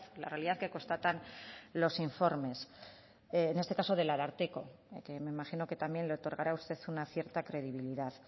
la realidad que constatan los informes en este caso del ararteko que me imagino que también le otorgará a usted una cierta credibilidad